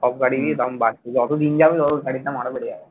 সব গাড়িরই দাম বাড়ছে যত দিন যাবে তত গাড়ির দাম আরও বেড়ে যাবে